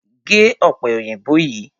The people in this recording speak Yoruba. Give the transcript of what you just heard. Gé ọ̀pẹ òyìnbó yìí!